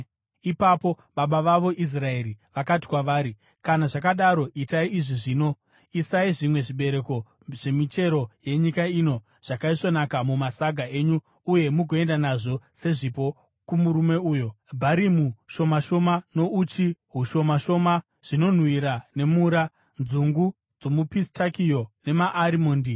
Ipapo baba vavo Israeri vakati kwavari, “Kana zvakadaro, itai izvi zvino: Isai zvimwe zvibereko zvemichero yenyika ino zvakaisvonaka mumasaga enyu uye mugoenda nazvo sezvipo kumurume uyo, bharimu shoma shoma, nouchi hushoma shoma, zvinonhuhwira nemura, nzungu dzomupistakio namaarimondi.